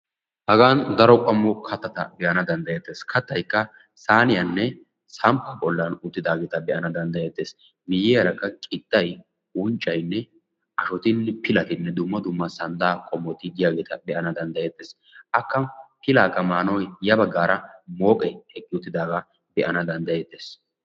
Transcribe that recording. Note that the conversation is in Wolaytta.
hagan daro qommo kattata be'ana danddayetees kattaykka saaniyaanne samppa bollan uttidaaga be'anaa danddayeetees miyiyyaara qixay unccay ashshotinne pilati dumma dumma santta qommoti diyaageta be'anaawu danddayeetes, aka pilakka maanawu mooqqe eqqi uttidaaga be'anaaw danddayetees.